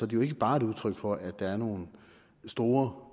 det jo ikke bare et udtryk for at der er nogle store